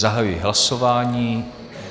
Zahajuji hlasování.